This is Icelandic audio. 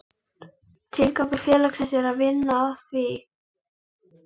Tilgangur félagsins er að vinna að því